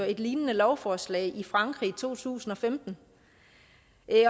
et lignende lovforslag i frankrig i to tusind og femten